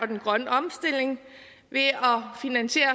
den grønne omstilling ved at finansiere